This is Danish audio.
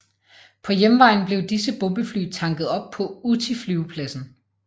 På hjemvejen blev disse bombefly tanket op på Utti flyvepladsen